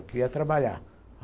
Eu queria trabalhar.